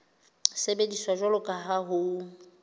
sebediswa jwalo ka ha ho